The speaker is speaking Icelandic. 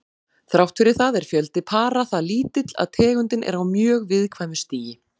Þrátt fyrir það er fjöldi para það lítill að tegundin er á mjög viðkæmu stigi.